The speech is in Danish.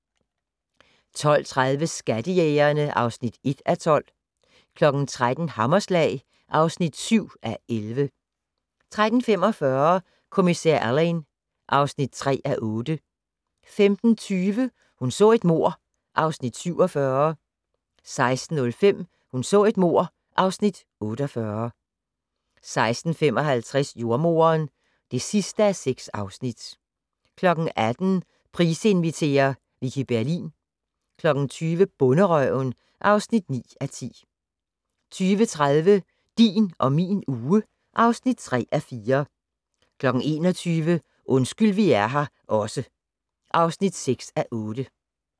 12:30: Skattejægerne (1:12) 13:00: Hammerslag (7:11) 13:45: Kommissær Alleyn (3:8) 15:20: Hun så et mord (Afs. 47) 16:05: Hun så et mord (Afs. 48) 16:55: Jordemoderen (6:6) 18:00: Price inviterer - Vicki Berlin 20:00: Bonderøven (9:10) 20:30: Din og min uge (3:4) 21:00: Undskyld vi er her også (6:8)